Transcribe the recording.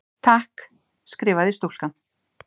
Takk, skrifaði stúlkan.